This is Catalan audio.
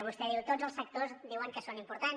vostè diu tots els sectors diuen que són importants